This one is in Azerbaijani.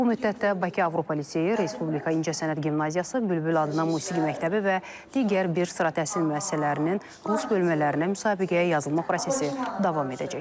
Bu müddətdə Bakı Avropa Liseyi, Respublika İncəsənət Gimnaziyası, Bülbül adına Musiqi Məktəbi və digər bir sıra təhsil müəssisələrinin rus bölmələrinə müsabiqəyə yazılma prosesi davam edəcək.